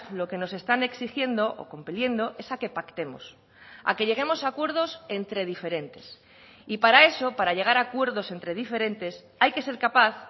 lo que nos están exigiendo o cumpliendo esa que pactemos a que lleguemos a acuerdos entre diferentes y para eso para llegar a acuerdos entre diferentes hay que ser capaz